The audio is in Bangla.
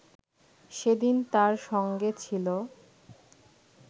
সেদিন তাঁর সঙ্গে ছিল